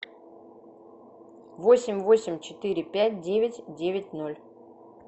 восемь восемь четыре пять девять девять ноль